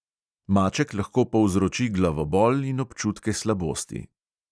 Maček lahko povzroči glavobol in občutke slabosti.